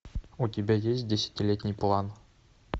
у тебя есть десятилетний план